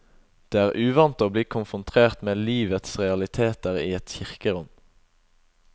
Det er uvant å bli konfrontert med livets realiteter i et kirkerom.